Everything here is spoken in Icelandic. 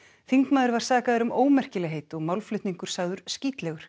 þingmaður var sakaður um ómerkilegheit og málflutningur sagður